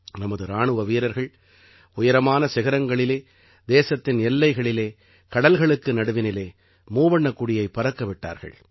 நமது இராணுவ வீரர்கள் உயரமான சிகரங்களிலே தேசத்தின் எல்லைகளிலே கடல்களுக்கு நடுவினிலே மூவண்ணக் கொடியைப் பறக்க விட்டார்கள்